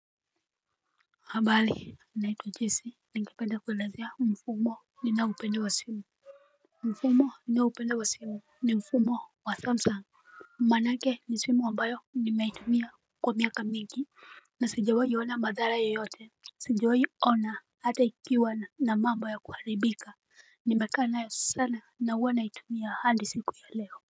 Habali naitwa jesse ningependa kuelezea mfumo ninaupende wa simu. Mfumo ni na upende wa simu ni mfumo wa thumbsang. Mmanake ni simu ambayo ni meitumia kwa miaka mingi. Na sajewai ona madhara yoyote. Sajawai ona ata ikiwa na mamba ya kuharibika ni mekaa nayo sana na ua naiatumia handi siku ya leo.